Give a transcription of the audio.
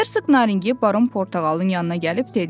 Hersoq Naringi Baron Portağalın yanına gəlib dedi.